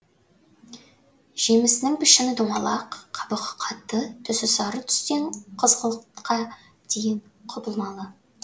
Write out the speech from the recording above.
жемісінің пішіні домалақ қабығы қатты түсі сары түстен қызғылтқа дейін құбылмалы